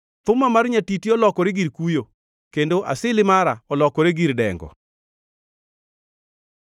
Thuma mar nyatiti olokore gir kuyo, kendo asili mara olokore gir dengo.